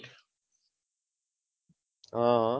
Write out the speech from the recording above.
હમ